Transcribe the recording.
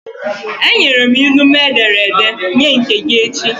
Enyere m ilu m e dere ede, nye nke gị echi!